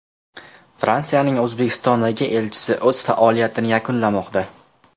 Fransiyaning O‘zbekistondagi elchisi o‘z faoliyatini yakunlamoqda.